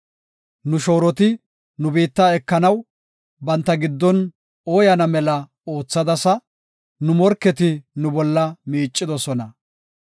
Nu shooroti nu biitta ekanaw banta giddon oyaana mela oothadasa; nu morketi nu bolla miicidosona.